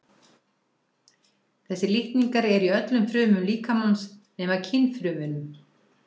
Þessir litningar eru í öllum frumum líkamans nema kynfrumunum.